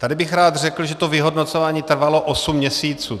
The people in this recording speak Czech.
Tady bych rád řekl, že to vyhodnocování trvalo osm měsíců.